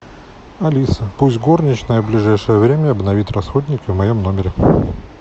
алиса пусть горничная в ближайшее время обновит расходники в моем номере